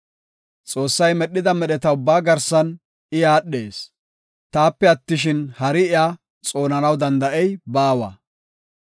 Xoossay medhida medheta ubbaa garsan I aadhees; taape attishin, hari iya xoonanaw danda7ey baawa.